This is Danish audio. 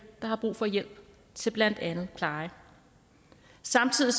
der har brug for hjælp til blandt andet pleje samtidig